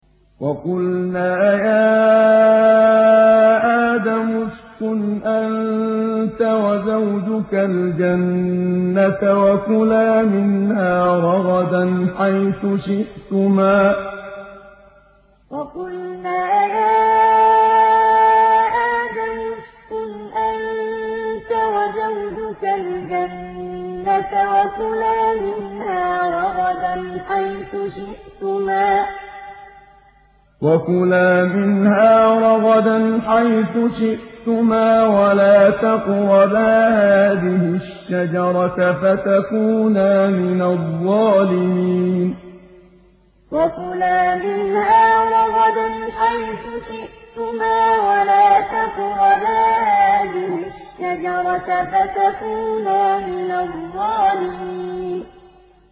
وَقُلْنَا يَا آدَمُ اسْكُنْ أَنتَ وَزَوْجُكَ الْجَنَّةَ وَكُلَا مِنْهَا رَغَدًا حَيْثُ شِئْتُمَا وَلَا تَقْرَبَا هَٰذِهِ الشَّجَرَةَ فَتَكُونَا مِنَ الظَّالِمِينَ وَقُلْنَا يَا آدَمُ اسْكُنْ أَنتَ وَزَوْجُكَ الْجَنَّةَ وَكُلَا مِنْهَا رَغَدًا حَيْثُ شِئْتُمَا وَلَا تَقْرَبَا هَٰذِهِ الشَّجَرَةَ فَتَكُونَا مِنَ الظَّالِمِينَ